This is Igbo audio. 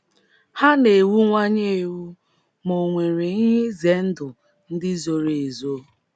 Ha na - ewuwanye ewu, ma ò nwere ihe ize ndụ ndị zoro ezo?